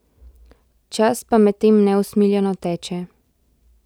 Čas pa medtem neusmiljeno teče ...